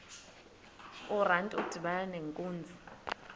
urantu udibana nenkunzi